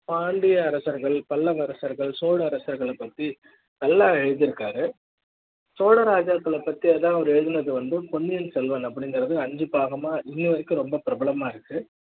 பாண்டிய அரசர்கள் பல்லவ அரசர்கள் சோழ அரசர்கள் பத்தி நல்லா எழுதி இருக்காருசோழ ராஜாக்கள பத்தி அவர் எழுதுனது வந்து பொன்னியன் செல்வன் அப்படிங்கற ஐந்து பாகமா இன்னவரைக்கும் ரொம்ப பிரபலமா இருக்கு